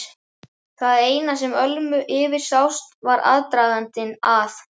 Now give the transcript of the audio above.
Það eina sem Ölmu yfirsást var aðdragandinn að